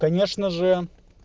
конечно же